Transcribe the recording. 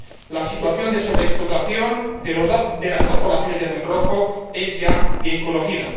La situación de sobreexplotación de las dos poblaciones de atún rojo es ya bien conocida.